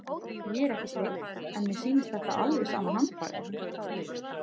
Ég er ekki Steinn en mér sýnist þetta alveg sama handbragð.